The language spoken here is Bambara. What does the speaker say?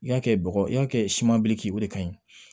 I y'a kɛ bɔgɔ i y'a kɛ simanbile k'i o de kaɲi